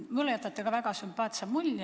Mulle te olete ka väga sümpaatse mulje jätnud.